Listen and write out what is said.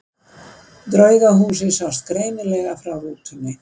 Draugahúsið sást greinilega frá rútunni.